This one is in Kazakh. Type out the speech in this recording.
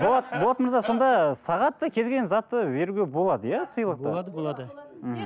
болат болат мырза сонда сағат та кез келген затты беруге болады иә сыйлықты болады болады ммм